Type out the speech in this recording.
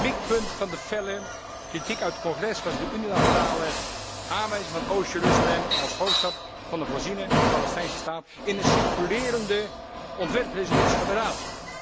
Mikpunt van de felle kritiek uit het Congres was de unilaterale aanwijzing van Oost Jeruzalem als hoofdstad van de voorziene Palestijnse staat in een circulerende ontwerpresolutie van de Raad.